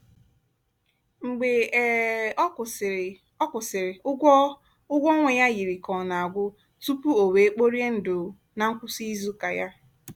mgbe um ọ kwụsịrị ọ kwụsịrị ụgwọ ụgwọ ọnwa ya yiri ka ọ na-agwụ tupu o wee kporie ndụ na ngwụsị izu ụka ya.